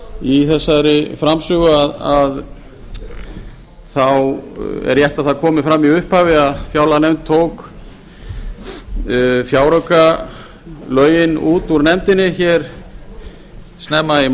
í þessari framsögu að rétt er að það komi fram í upphafi að fjárlaganefnd tók fjáraukalögin út úr nefndinni snemma í